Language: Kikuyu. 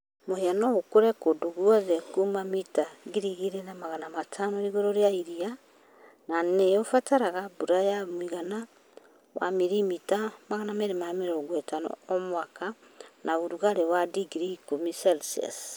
Mũhĩa no ũkũre kũndũ guothe kuuma mita 2,500 igũrũ rĩa iria na nĩ ĩbataraga mbura ya ũigana wa milimita 250 o mwaka na ũrugarĩ wa digrii 10°C.